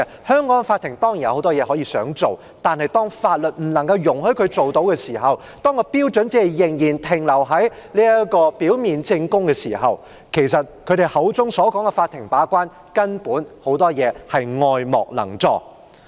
香港的法庭當然有很多事情可以做到，但當法律不容許法庭採取某些行動時，當標準仍然停留在表面證供時，建制派議員口中的"法庭把關"很多時根本是愛莫能助。